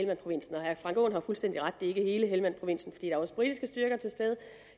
herre frank aaen har fuldstændig ret i det er hele helmandprovinsen for er også britiske styrker til stede